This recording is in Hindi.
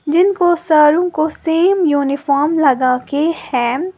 जिनको सारों को सेम यूनिफॉर्म लगा के है।